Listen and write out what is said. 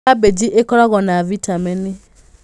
Kabici ĩkoragwo na bitameni.